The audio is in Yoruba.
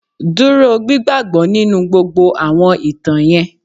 Dúró gbigbagbọ nínú gbogbo àwọn ìtàn yẹn.